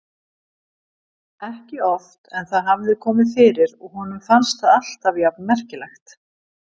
Ekki oft en það hafði komið fyrir og honum fannst það alltaf jafn merkilegt.